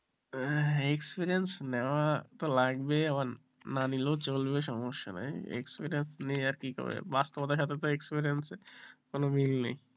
হ্যাঁ experience নেওয়ার তো লাগবে আবার না নিলেও চলবে সমস্যা নাই experience নিয়ে আর কে করবে বাস্তবতার সাথে experience এর কোন মিল নেই,